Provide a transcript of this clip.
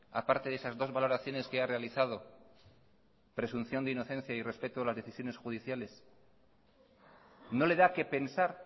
a parte de esas dos valoraciones que ha realizado presunción de inocencia y respeto a las decisiones judiciales no le da qué pensar